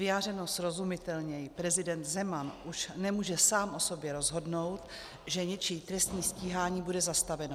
Vyjádřeno srozumitelněji - prezident Zeman už nemůže sám o sobě rozhodnout, že něčí trestní stíhání bude zastaveno.